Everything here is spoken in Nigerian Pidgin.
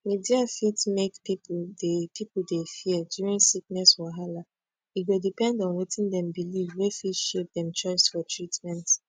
media fit make people dey people dey fear during sickness wahala e go depend on wetin dem believe wey fit shape dem choice for treatment